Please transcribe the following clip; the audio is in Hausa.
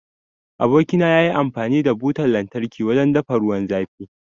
Aboki na yafi amfani da Butan lantarki wajen dafa ruwan zafi.